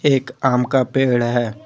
एक आम का पेड़ है।